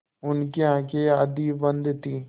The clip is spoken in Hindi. उनकी आँखें आधी बंद थीं